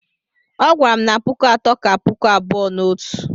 Ọ gwara m na puku atọ ka puku abụọ na otu